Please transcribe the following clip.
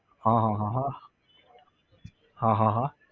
હા હા હા હા, હા હા હા